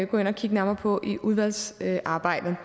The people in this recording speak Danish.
gå ind og kigge nærmere på i udvalgsarbejdet